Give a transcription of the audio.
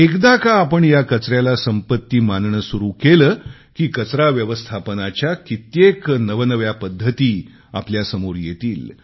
एकदा का आपण या कचऱ्याला संपत्ती मानणे सुरू केले की कचरा व्यवस्थापनाच्या कित्येक नवनव्या पद्धती आपल्यासमोर येतील